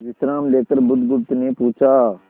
विश्राम लेकर बुधगुप्त ने पूछा